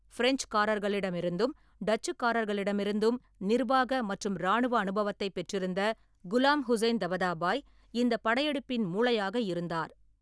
பிரெஞ்சுக்காரர்களிடமிருந்தும் டச்சுக்காரர்களிடமிருந்தும் நிர்வாக மற்றும் இராணுவ அனுபவத்தைப் பெற்றிருந்த குலாம் ஹுசைன் தபதாபாய் இந்தப் படையெடுப்பின் மூளையாக இருந்தார்.